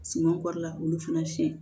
Suman kɔri la olu fana siɲɛ